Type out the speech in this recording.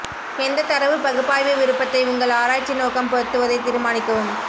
எந்தத் தரவு பகுப்பாய்வு விருப்பத்தை உங்கள் ஆராய்ச்சி நோக்கம் பொருத்துவதைத் தீர்மானிக்கவும்